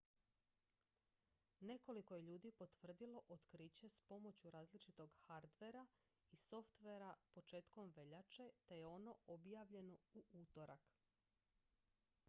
nekoliko je ljudi potvrdilo otkriće s pomoću različitog hardvera i softvera početkom veljače te je ono objavljeno u utorak